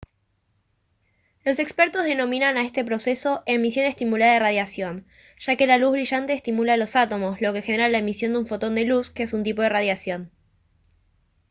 los expertos denominan a este proceso «emisión estimulada de radiación» ya que la luz brillante estimula a los átomos lo que genera la emisión de un fotón de luz que es un tipo de radiación